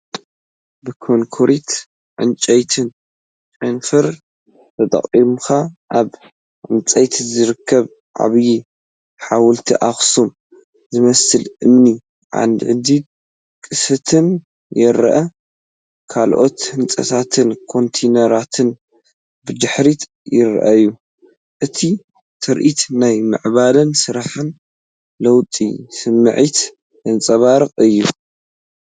ብኮንክሪትን ዕንጨይትን ጨናፍር ተጠቒምካ ኣብ ህንፀት ዝርከብ ዓብዪ ሓወልቲ ኣክሱም ዝመስል እምኒ ዓንዲን ቅስትን ይረአ። ካልኦት ህንጻታትን ኮንተይነራትን ብድሕሪት ይረኣዩ። እቲ ትርኢት ናይ ምዕባለን ስራሕን ለውጥን ስምዒት ዘንጸባርቕ እዩ።